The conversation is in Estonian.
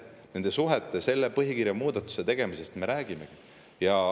Nende suhete, selle põhikirja muudatuste tegemisest me räägimegi.